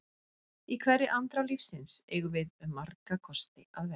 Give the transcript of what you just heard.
Í hverri andrá lífsins eigum við um marga kosti að velja.